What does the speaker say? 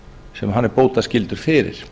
sem hann er bótaskyldur fyrir